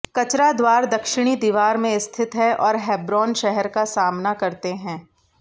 कचरा द्वार दक्षिणी दीवार में स्थित हैं और हेब्रोन शहर का सामना करते हैं